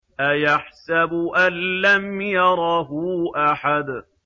أَيَحْسَبُ أَن لَّمْ يَرَهُ أَحَدٌ